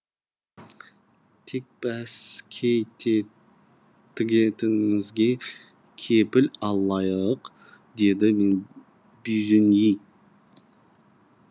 тек бәске тігетінімізге кепіл алайық деді бюзиньи